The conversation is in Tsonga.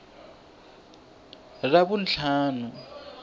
ravuntlhanu